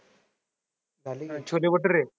Chole bhature?